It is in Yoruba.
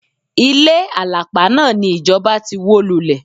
Ilé àlàpà náà ni ìjọba ti wó lulẹ̀.